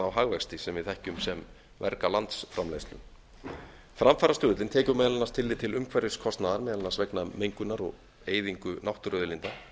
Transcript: á hagvexti sem við þekkjum sem verga landsframleiðslu framfarastuðullinn tekur meðal annars tillit til umhverfiskostnaðar meðal annars vegna mengunar og eyðingar náttúruauðlinda